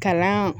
Kalan